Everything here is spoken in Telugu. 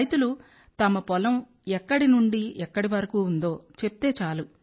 రైతులు తమ పొలం ఎక్కడి నుండి ఎక్కడి వరకు ఉందో చెప్తే చాలు